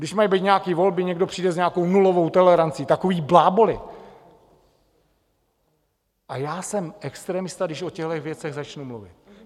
Když mají být nějaké volby, někdo přijde s nějakou nulovou tolerancí - takový bláboly, a já jsem extremista, když o těchhle věcech začnu mluvit.